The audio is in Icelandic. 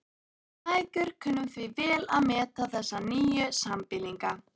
Við mæðgur kunnum því vel að meta þessa nýju sambýlinga.